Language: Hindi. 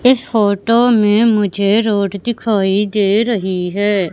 इस फोटो में मुझे रोड दिखाई दे रही है।